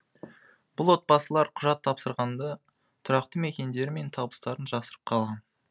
бұл отбасылар құжат тапсырғанда тұрақты мекендері мен табыстарын жасырып қалған